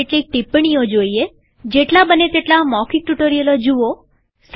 કેટલીક ટીપ્પણીઓ જોઈએજેટલા બને તેટલા મૌખિક ટ્યુ્ટોરીઅલો જુઓ